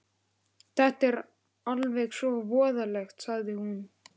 Þetta er alveg svo voðalegt, sagði hún.